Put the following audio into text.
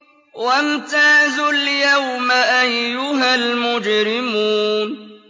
وَامْتَازُوا الْيَوْمَ أَيُّهَا الْمُجْرِمُونَ